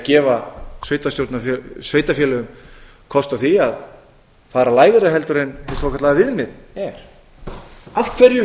það er gefa sveitarfélögum kost á því aðra lægra heldur en hið svokallaða viðmið er af hverju